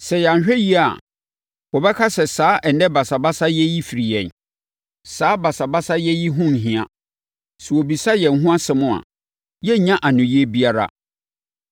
Sɛ yɛanhwɛ yie a, wɔbɛka sɛ saa ɛnnɛ basabasayɛ yi firi yɛn. Saa basabasayɛ yi ho nhia. Sɛ wɔbisa yɛn ho asɛm a, yɛrennya anoyie biara.”